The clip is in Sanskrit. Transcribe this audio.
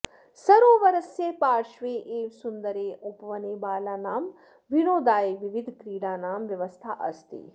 सरोवरस्य पार्श्वे एव सुन्दरे उपवने बालानां विनोदाय विविधक्रीडानां व्यवस्था अस्ति